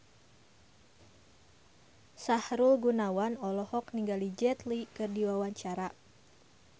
Sahrul Gunawan olohok ningali Jet Li keur diwawancara